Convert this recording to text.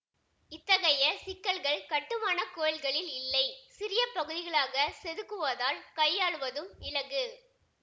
இத்தகைய சிக்கல்கள் கட்டுமான கோயில்களில் இல்லை சிறிய பகுதிகளாகச் செதுக்குவதால் கையாளுவதும் இலகு